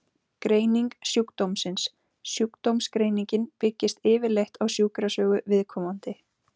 Greining sjúkdómsins Sjúkdómsgreiningin byggist yfirleitt á sjúkrasögu viðkomandi.